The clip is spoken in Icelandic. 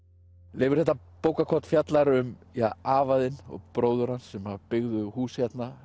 Leifur þetta bókarkorn fjallar um afa þinn og bróður hans sem byggðu hús hérna